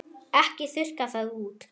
Ekki þurrka það út.